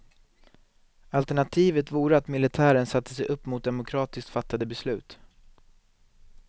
Alternativet vore att militären satte sig upp mot demokratiskt fattade beslut.